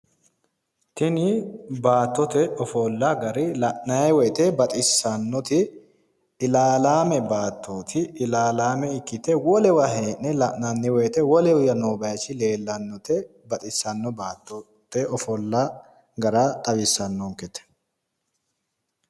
Tini baatote ofolla gari la'naayi woyte baxissannoti ilaalaame baattooti ilaalaame ikkite heedhe wolewa la'naayi woyte wolewa no baaychi leellannote baxissanno baattote ofolla gara xawissannonkete.